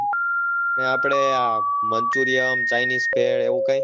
ને આપણે આ માંન્ચુરીયમ, ચાઈનીસ છે એવું કાઈ?